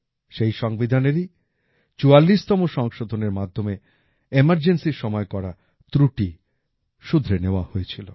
সেই সংবিধানেরই চুয়াল্লিশতম সংশোধনের মাধ্যমে ইমারজেন্সির সময় করা ত্রুটি শুধরে নেওয়া হয়েছিল